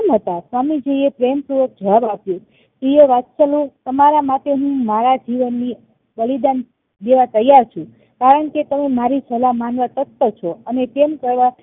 કેમ હતા સ્વામીજી એ પ્રેમ પૂર્વક જવાબ આપ્યો પ્રિય વત્સનો તમારા માટે હું મારા જીવન ની બલિદાન દેવા તૈયાર છું કારણ કે તમે મારી સલાહ માનવ તત્પર છો અને તેમ કરવા